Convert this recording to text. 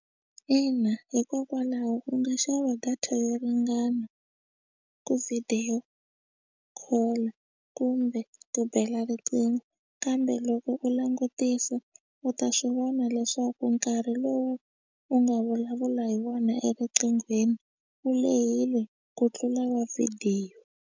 Ina hikokwalaho u nga xava data yo ringana ku video call kumbe ku bela riqingho kambe loko u langutisa u ta swi vona leswaku nkarhi lowu u nga vulavula hi wona erinqinghweni wu lehile ku tlula wa vhidiyo.